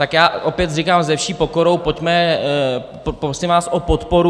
Tak já opět říkám se vší pokorou pojďme, prosím vás o podporu.